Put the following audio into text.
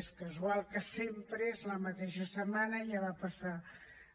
és casual que sempre és la mateixa setmana ja va passar